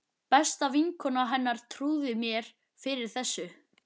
Besta vinkona hennar trúði mér fyrir þessu.